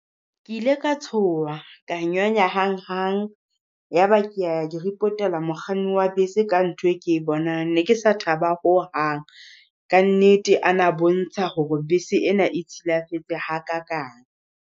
Ke ile ka tsoha, ka nyonya hang hang. Yaba ke a ya ke repotela mokganni wa bese ka ntho e ke bonang. Ne ke sa thaba ho hang, ka nnete a na bontsha hore bese ena e silafetse ha kakang.